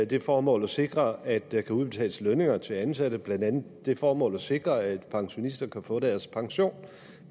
det formål at sikre at der kan udbetales lønninger til ansatte blandt andet det formål at sikre at pensionister kan få deres pension